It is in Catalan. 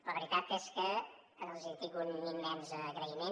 la veritat és que els tinc un immens agraïment